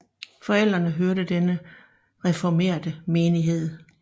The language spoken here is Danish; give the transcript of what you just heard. Forældrene hørte til den reformerte menighed